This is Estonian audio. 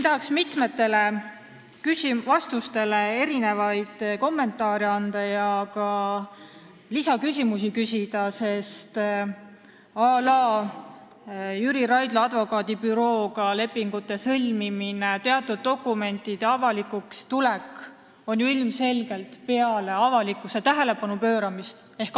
Tahaks siinkohal mitme vastuse peale kommentaare anda ja ka lisaküsimusi küsida, à la Jüri Raidla advokaadibürooga lepingute sõlmimine ja teatud dokumentide avalikuks tulek ilmselgelt peale avalikkuse tähelepanu pööramist.